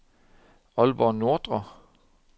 Aalborg Nordre